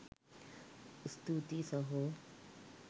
ස්තුතියි සහො!